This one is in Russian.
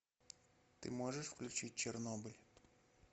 ты можешь включить чернобыль